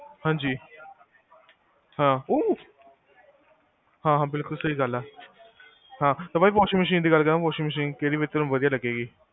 ਹਾਂਜੀ, ਹਾਂ, ਹਾਂ ਅਹ ਹਾਂ ਬਿਲਕੁਲ ਸਹੀ ਗਲ ਆ ਹਾਂ ਤੇ ਬਾਈ washing machine ਦੀ ਗਲ ਕਰਾ washing machine ਕੇਹੜੀ ਵਦੀਆਂ ਲਗੇਗੀ